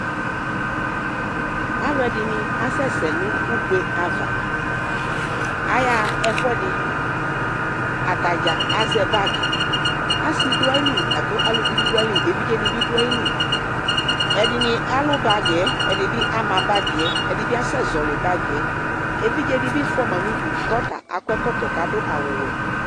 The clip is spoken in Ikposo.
Alu ɛdini asɛsɛ nʋ ugbe'avaAyaɣa ɛfuɛdiAtaɖza azɛ bagiAsi duayili lakʋ aluvi bi duayili Evidze nibi du ayiliƐdini alʋ bagiɛ, ɛdini bi ama bagiɛƐdibiasɛ zɔli bagiɛƐvidze dibi fuama nudu kɔta akɔ ɛkɔtɔ kadʋ awu wɛ